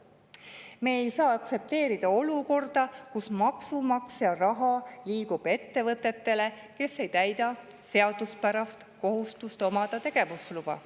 Me ei saa aktsepteerida olukorda, kus maksumaksja raha liigub ettevõtetele, kes ei täida seaduspärast kohustust omada tegevusluba.